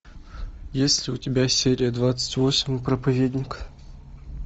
есть ли у тебя серия двадцать восемь проповедник